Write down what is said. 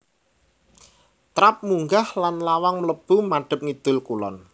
Trap munggah lan lawang mlebu madhep ngidul kulon